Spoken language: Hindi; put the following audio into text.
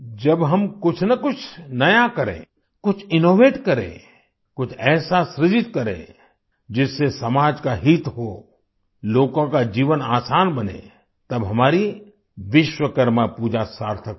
जब हम कुछ ना कुछ नया करें कुछ इनोवेट करें कुछ ऐसा सृजित करें जिससे समाज का हित हो लोगों का जीवन आसान बने तब हमारी विश्वकर्मा पूजा सार्थक होगी